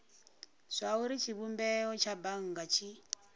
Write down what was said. zwauri tshivhumbeo tsha bannga tshi